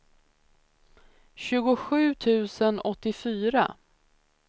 tjugosju tusen åttiofyra